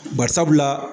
Bari sabula